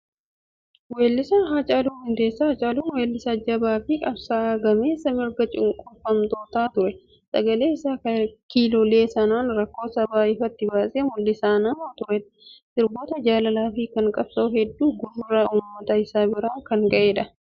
Weellisaa Haacaaluu Hundeessaa. Haacaaluun weellisaa jabaa fi qabsaa'aa gameessa mirga cunqurfamtootaa ture. Sagalee isaa kiloolee sanaan rakkoo sabaa ifatti baasee mul'isaa nama turedha. Sirboota jaalalaa fi kan qabsoo hedduu gurra uummata isaa biraan kan ga'edha.